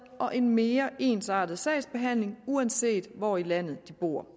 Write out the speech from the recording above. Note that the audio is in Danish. og en mere ensartet sagsbehandling uanset hvor i landet de bor